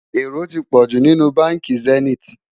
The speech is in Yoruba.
èrò tí pojú nínú bánkì zenith